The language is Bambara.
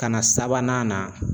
Ka na sabanan na